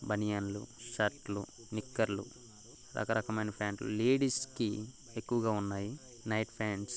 బనియన్ లు షర్టు లు నిక్కర్ లు రక రకమైన ప్యాంట్ లు లేడీస్ కి ఎక్కువగా ఉన్నాయినైట్ ప్యాంట్ స్--